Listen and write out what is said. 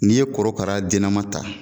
N'i ye korokara dennama ta